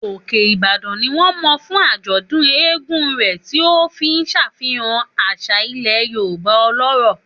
Òkè Ìbàdàn ni wọ́n mọ̀ fún àjọ̀dún eégún rẹ̀, tí ó ń ṣàfihàn àṣà ilẹ̀ Yorùbá ọlọ́rọ̀.